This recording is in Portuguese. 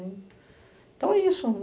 né. Então é isso.